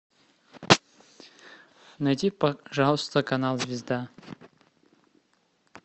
найди пожалуйста канал звезда